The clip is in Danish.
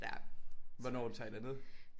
Ja. Hvornår tager I derned?